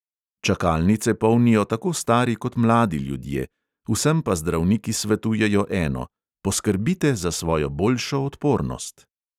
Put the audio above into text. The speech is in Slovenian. Čakalnice polnijo tako stari kot mladi ljudje, vsem pa zdravniki svetujejo eno: poskrbite za svojo boljšo odpornost.